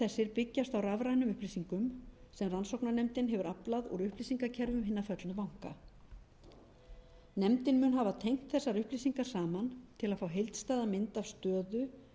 byggjast á rafrænum upplýsingum sem rannsóknarnefndin hefur aflað úr upplýsingakerfum hinna föllnu banka nefndin mun hafa tengt þessar upplýsingar saman til að fá heildstæða mynd af stöðu